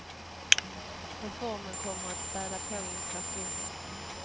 Reformen kommer att späda på inflationen.